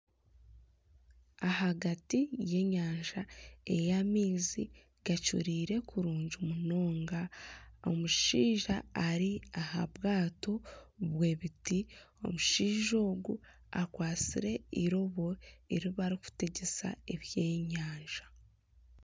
Ahagati y'enyanja ey'amaizi gacureire kurungi munonga omushaija ari aha bwato bw'ebiti omushaija ogu akwatsire eirobo eri barikutegyesa ebyenyanja